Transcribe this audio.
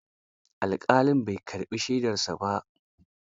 Alƙalin bai karɓi shaidarsa ba.